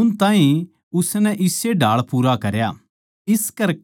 उन ताहीं उसनै इस्से ढाळ पूरा करया